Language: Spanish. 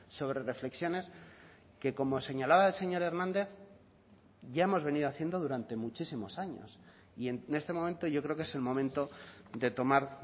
sobre reflexiones que como señalaba el señor hernández ya hemos venido haciendo durante muchísimos años y en este momento yo creo que es el momento de tomar